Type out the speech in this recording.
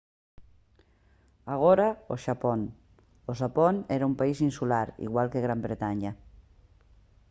agora o xapón o xapón era un país insular igual que gran bretaña